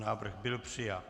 Návrh byl přijat.